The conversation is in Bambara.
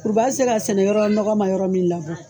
U b'a se k'a sɛnɛ yɔrɔ nɔgɔ ma yɔrɔ min la